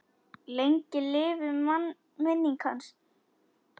Lengi lifi minning hans.